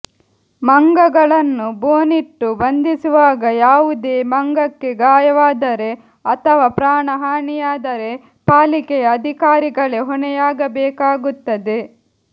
ಮಂಗಗಳನ್ನು ಬೋನಿಟ್ಟು ಬಂಧಿಸುವಾಗ ಯಾವುದೇ ಮಂಗಕ್ಕೆ ಗಾಯವಾದರೆ ಅಥವಾ ಪ್ರಾಣಹಾನಿಯಾದರೆ ಪಾಲಿಕೆಯ ಅಧಿಕಾರಿಗಳೇ ಹೊಣೆಯಾಗಬೇಕಾಗುತ್ತದೆ